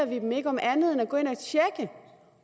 vi dem ikke om andet end at gå ind